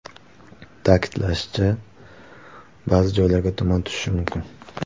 Ta’kidlanishicha, ba’zi joylarga tuman tushishi mumkin.